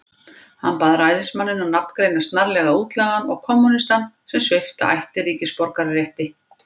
Hann bað ræðismanninn að nafngreina snarlega útlagann og kommúnistann, sem svipta ætti ríkisborgararétti.